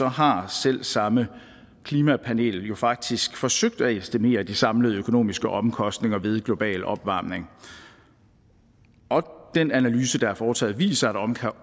har selv samme klimapanel jo faktisk forsøgt at estimere de samlede økonomiske omkostninger ved global opvarmning og den analyse der er foretaget viser